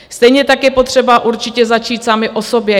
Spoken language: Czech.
Stejně tak je potřeba určitě začít sami u sebe.